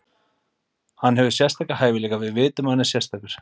Hann hefur sérstaka hæfileika, við vitum að hann er sérstakur.